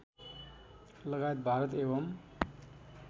लगायत भारत एवम्